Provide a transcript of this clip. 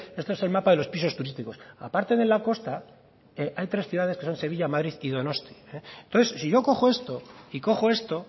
esto es el mapa de los pisos turísticos aparte de la costa hay tres ciudades que son sevilla madrid y donosti entonces si yo cojo esto y cojo esto